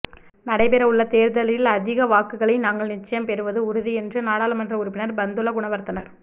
நடைபெறவுள்ள தேர்தலில் அதிக வாக்குகளை நாங்கள் நிச்சயம் பெறுவது உறுதி என்று நாடாளுமன்ற உறுப்பினர் பந்துல குணவர்தனர்